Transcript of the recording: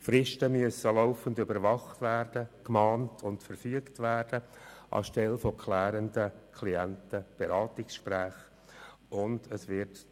An der Stelle von klärenden Klientenberatungsgesprächen müssen nun laufend Fristen überwacht, gemahnt und verfügt werden.